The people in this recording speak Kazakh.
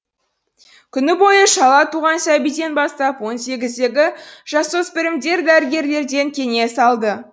күні бойы шала туған сәбиден бастап он сегіздегі жасөспірімдер дәрігерлерден кеңес алды